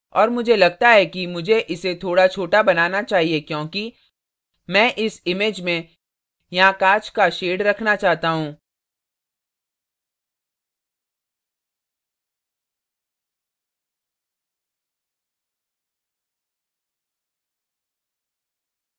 और मुझे लगता है कि मुझे इसे थोड़ा छोटा बनाना चाहिए क्योंकि मैं इस image में यहाँ कांच का shades रखना चाहता हूँ